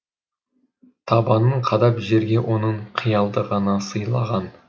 табанын қадап жерге оның қиялды ғана сыйлаған